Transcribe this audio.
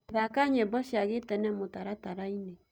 thaka nyĩmbo cĩa gĩtene mũtarataraĩnĩ